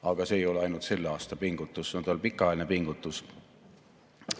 Aga see ei ole ainult selle aasta pingutus, see on tal pikaajaline pingutus.